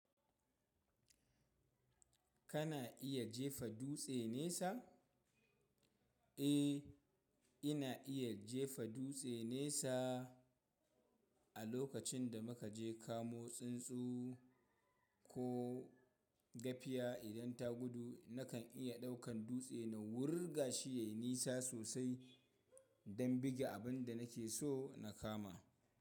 Kana iya jefa dutse nesa? Eh, ina iya jefa dutse nesa. A lokacin da muka je kamo tsuntsu ko gafiya idan ta gudu, nakan iya ɗaukan dutse na wurga shi ya nisa sosai don bige abin da nake so na kama.